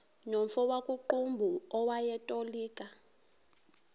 nomfo wakuqumbu owayetolika